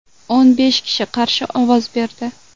O‘n besh kishi qarshi ovoz berdi.